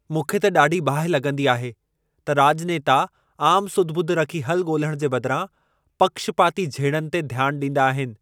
मूंखे त ॾाढी बाहि लॻंदी आहे त राॼनेता आमु सुध ॿुध रखी हलु ॻोल्हण जे बदिरां, पक्षपाती झेड़नि ते ध्यान ॾींदा आहिनि।